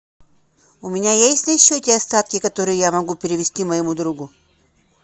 у меня есть на счете остатки которые я могу перевести моему другу